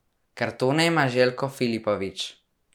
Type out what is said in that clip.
Kartone ima Željko Filipović.